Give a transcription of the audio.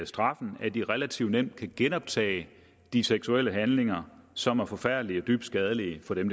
straffen at de relativt nemt kan genoptage de seksuelle handlinger som er forfærdelige og dybt skadelige for dem